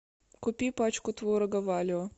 купи пачку творога валио